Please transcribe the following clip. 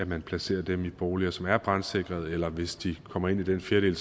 man placerede dem i boliger som er brandsikrede eller at man hvis de kommer ind i den fjerdedel